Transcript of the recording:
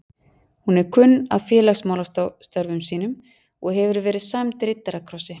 Hún er kunn af félagsmálastörfum sínum og hefur verið sæmd riddarakrossi